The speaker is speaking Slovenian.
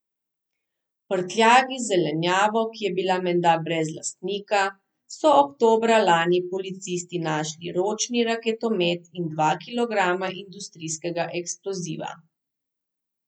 V prtljagi z zelenjavo, ki je bila menda brez lastnika, so oktobra lani policisti našli ročni raketomet in dva kilograma industrijskega eksploziva.